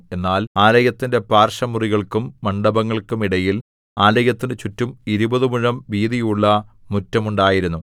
എന്നാൽ ആലയത്തിന്റെ പാർശ്വമുറികൾക്കും മണ്ഡപങ്ങൾക്കും ഇടയിൽ ആലയത്തിന് ചുറ്റും ഇരുപതു മുഴം വീതിയുള്ള മുറ്റം ഉണ്ടായിരുന്നു